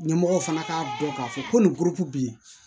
Ɲɛmɔgɔw fana k'a dɔn k'a fɔ ko nin poroki bɛ ye